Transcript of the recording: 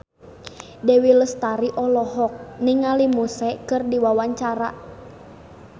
Dewi Lestari olohok ningali Muse keur diwawancara